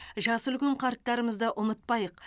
жасы үлкен қарттарымызды ұмытпайық